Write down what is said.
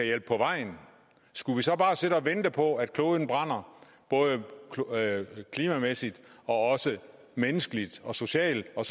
hjælpe på vejen skulle vi så bare sidde og vente på at kloden brænder klimamæssigt og også menneskeligt og socialt og